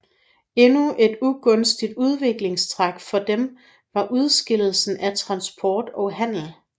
Endnu et ugunstigt udviklingstræk for dem var udskillelsen af transport og handel